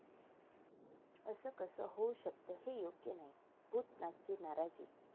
असं कसं होऊ शकतं? हे योग्य नाही, 'भूतनाथ'ची नाराजी